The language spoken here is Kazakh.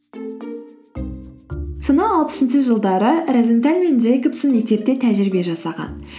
сонау алпысыншы жылдары розенталь мен джейкобсен мектепте тәжірибе жасаған